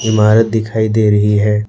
इमारत दिखाई दे रही है।